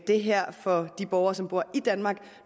det her for de borgere som bor i danmark